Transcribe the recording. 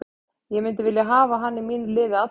Ég myndi vilja hafa hann í mínu liði alla daga.